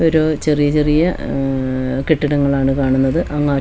ഒരു ചെറിയ ചെറിയ അ കെട്ടിടങ്ങളാണ് കാണുന്നത് അങ്ങ് അറ്റത്ത് ഒ--